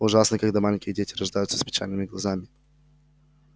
ужасно когда маленькие дети рождаются с печальными глазами